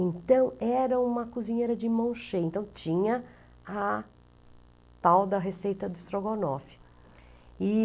Então era uma cozinheira de mão cheia, então tinha a tal da receita do estrogonofe.